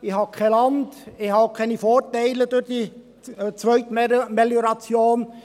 Ich habe kein Land, ich habe keine Vorteile durch diese Zweitmelioration.